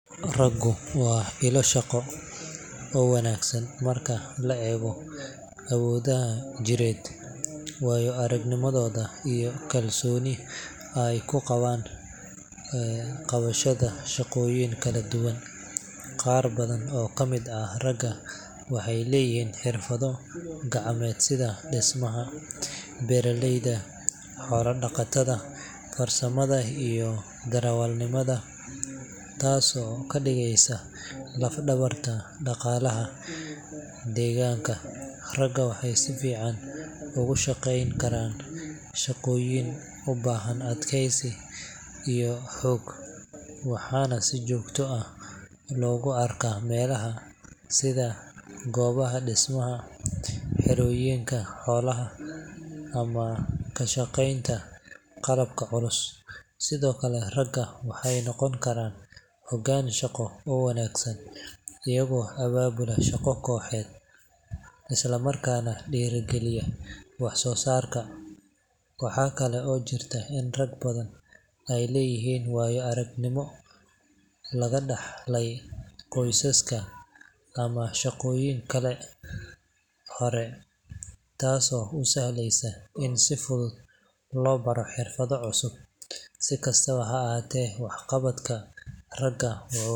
Raggu waa ilo shaqo oo wanaagsan marka la eego awooddooda jireed, waayo-aragnimadooda, iyo kalsooni ay ku qabaan qabashada shaqooyin kala duwan. Qaar badan oo ka mid ah ragga waxay leeyihiin xirfado gacmeed sida dhismaha, beeralayda, xoolo-dhaqatada, farsamada iyo darawalnimada, taasoo ka dhigaysa laf-dhabarta dhaqaalaha deegaanka. Ragga waxay si fiican ugu shaqeyn karaan shaqooyin u baahan adkeysi iyo xoog, waxaana si joogto ah loogu arkaa meelaha sida goobaha dhismaha, xerooyinka xoolaha, ama ka shaqeynta qalabka culus. Sidoo kale, ragga waxay noqon karaan hoggaan shaqo oo wanaagsan, iyagoo abaabula shaqo kooxeed, isla markaana dhiirrigeliya wax-soo-saarka. Waxa kale oo jirta in rag badan ay leeyihiin waayo-aragnimo laga dhaxlay qoysaska ama shaqooyin hore, taasoo u sahlaysa in si fudud loo baro xirfado cusub. Si kastaba ha ahaatee, waxqabadka raggu wuxuu.